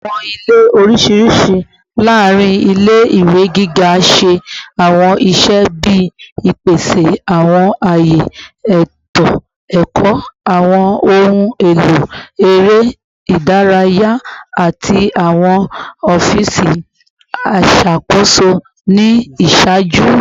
Awọn ile oriṣiriṣi laarin ile-iwe giga ṣe awọn iṣẹ bii ipese awọn aye eto ẹkọ, awọn ohun elo ere idaraya, ati awọn ọfiisi iṣakoso ni iṣaaju